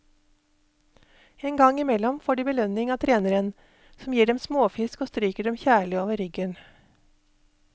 En gang imellom får de belønning av treneren, som gir dem småfisk og stryker dem kjærlig over ryggen.